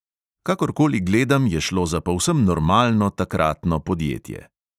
Kakorkoli gledam, je šlo za povsem normalno takratno podjetje.